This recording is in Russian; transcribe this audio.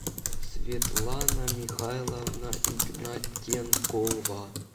светлана михайловна игнатенкова